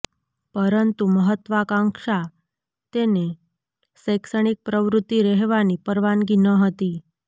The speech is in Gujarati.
પરંતુ મહત્વાકાંક્ષા તેને શૈક્ષણિક પ્રવૃત્તિ રહેવાની પરવાનગી ન હતી